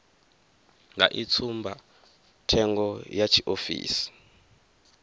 vha i tsumbathengo ya tshiofisi